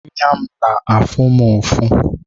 Anya m na-afụ m ufọ